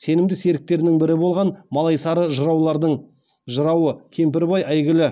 сенімді серіктерінің бірі болған малайсары жыраулардың жырауы кемпірбай әйгілі